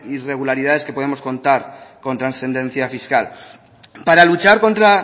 irregularidades que podemos contar con transcendencia fiscal para luchar contra